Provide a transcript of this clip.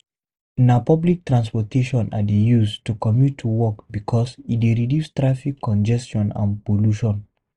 Na public transportation I dey use to commute to work because e dey reduce traffic congestion and pollution.